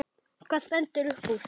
En hvað stendur uppúr?